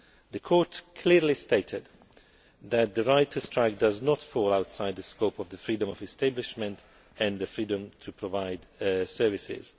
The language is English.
The Court clearly stated that the right to strike does not fall outside the scope of the freedom of establishment and the freedom to provide services.